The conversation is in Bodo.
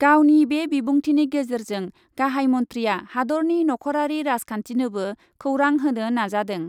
गावनि बे बिबुंथिनि गेजेरजों गाहाइ मन्थ्रिआ हादरनि नख'रारि राजखान्थिनोबो खौरां होनो नाजादों ।